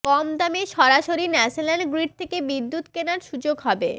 কম দামে সরাসরি national grid থেকে বিদ্যুৎ কেনার সুযোগ হবে